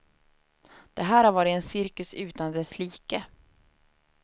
Det här har varit en cirkus utan dess like.